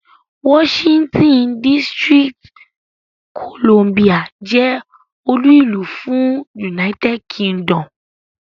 Washington DC jẹ́ olú ìlú fún United Kingdom.